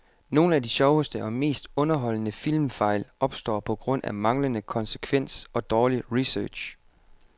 Nogle af de sjoveste og mest underholdende filmfejl opstår på grund af manglende konsekvens og dårlig research.